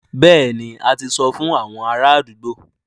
Bẹ́ẹ̀ni, a ti sọ fún àwọn ará àdúgbò